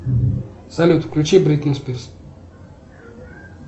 салют включи бритни спирс